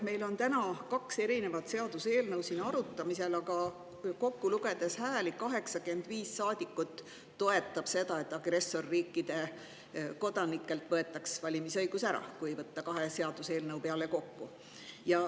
Meil on täna kaks erinevat seaduseelnõu siin arutamisel, aga kui hääli lugeda, siis kahe seaduseelnõu peale kokku 85 saadikut toetab seda, et agressorriikide kodanikelt võetaks valimisõigus ära.